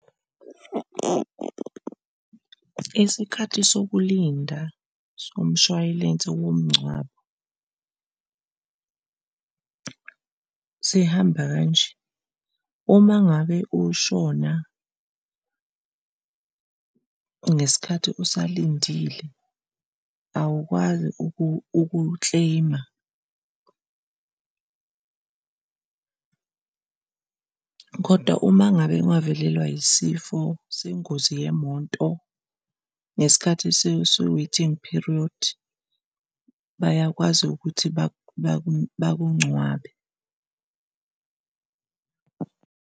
Isikhathi sokulinda somshwalense womngcwabo sihamba kanje, uma ngabe ushona ngesikhathi usalindile awukwazi uku-claim-a kodwa uma ngabe ungavelelwa yisifo sengozi yemoto ngesikhathi se-waiting period bayakwazi ukuthi bakungcwabe.